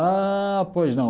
Ah, pois não.